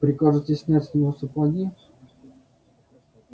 прикажете снять с него сапоги